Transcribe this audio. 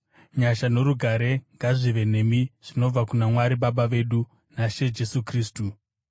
Nyasha norugare ngazvive nemi zvinobva kuna Mwari Baba vedu naShe Jesu Kristu.